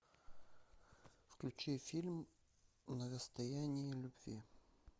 включи фильм на расстоянии любви